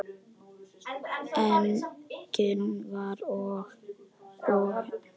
Engin var eins og hún.